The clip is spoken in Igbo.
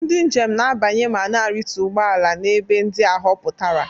Ndị njem na-abanye ma na-arịtu ụgbọ ala n'ebe ndị a họpụtara.